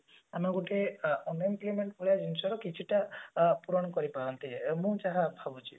ମାନେ ଗୋଟେ unemployment ଭଳି ଜିନିଷ ରେ କିଛି ଟା ଆ ପୂରଣ କରି ପାରନ୍ତେ ମୁଁ ଯାହା ଭାବୁଛି